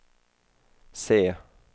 se